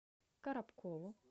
коробкову